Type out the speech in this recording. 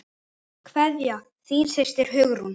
Kveðja, þín systir, Hugrún.